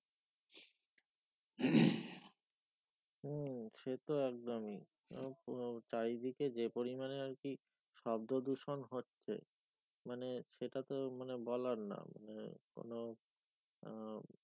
হম সে তো একদমই আব আব চারি দিকে যে পরিমানে আর কি শব্দ দূষন হচ্ছে মানে সেটা তো মানে বলার না মানে কোনো আহ